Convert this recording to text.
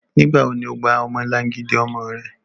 Nigbawo ni o gba ọmọlangidi ọmọ rẹ?